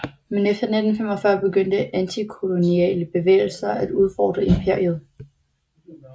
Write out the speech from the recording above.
Men efter 1945 begyndte antikoloniale bevægelser at udfordre imperiet